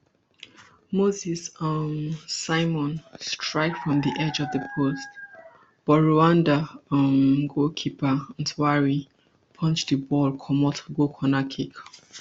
moses um simon strike from di edge of di post but rwanda um goalkeeper ntwari punch di ball comot go corner kick